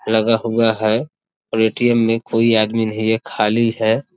लगा हुआ है और ए.टी.एम. में कोई आदमी नहीं है खाली है।